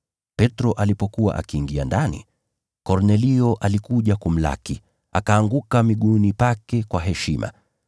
Petro alipokuwa akiingia ndani, Kornelio alikuja kumlaki, akaanguka miguuni pake kwa heshima.